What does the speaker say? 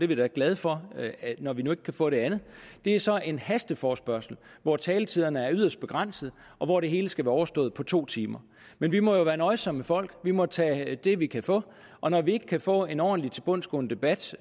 vi da glade for når vi nu ikke kan få det andet er så en hasteforespørgsel hvor taletiderne er yderst begrænsede og hvor det hele skal være overstået på to timer men vi må jo være nøjsomme folk vi må tage det vi kan få og når vi ikke kan få en ordentlig tilbundsgående debat